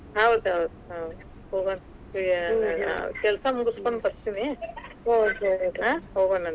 ಹೌದ್ ಹೌದ್ ಹಾ ಹೋಗೋಣ, ಆ ಕೆಲಸಾ ಮುಗಿಸಕೊಂಡ ಬತೀ೯ನಿ ಹೋಗೋಣಂತ.